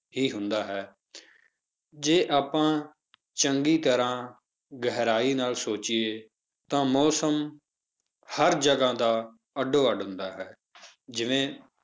ਹੀ ਹੁੰਦਾ ਹੈ ਜੇ ਆਪਾਂ ਚੰਗੀ ਤਰ੍ਹਾਂ ਗਹਿਰਾਈ ਨਾਲ ਸੋਚੀਏ ਤਾਂ ਮੌਸਮ ਹਰ ਜਗ੍ਹਾ ਦਾ ਅੱਡੋ ਅੱਡ ਹੁੰਦਾ ਹੈ, ਜਿਵੇਂ